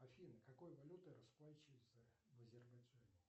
афина какой валютой расплачиваются в азербайджане